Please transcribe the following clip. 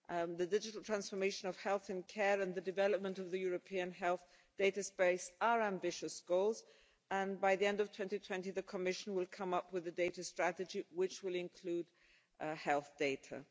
The digital transformation of health and care and the development of the European health data space are ambitious goals, and by the end of 2020 the Commission will come up with a data strategy which will include health data.